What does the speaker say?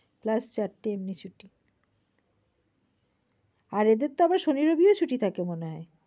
plus চারটি এমনি ছুটি। আর এদের তো আবার শনি রবিও ছুটি থাকে মনে হয়।